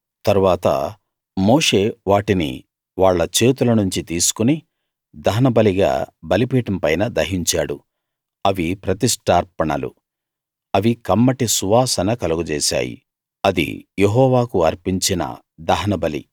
తరువాత మోషే వాటిని వాళ్ళ చేతుల నుంచి తీసుకుని దహనబలిగా బలిపీఠం పైన దహించాడు అవి ప్రతిష్టార్పణలు అవి కమ్మటి సువాసన కలుగజేసాయి అది యెహోవాకు అర్పించిన దహనబలి